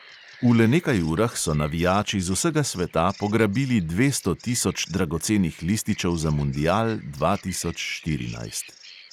V le nekaj urah so navijači z vsega sveta pograbili dvesto tisoč dragocenih lističev za mundial dva tisoč štirinajst.